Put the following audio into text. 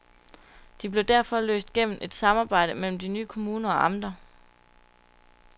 De blev derfor løst gennem et samarbejde mellem de nye kommuner og amter.